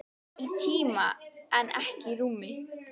Í tíma en ekki í rúmi.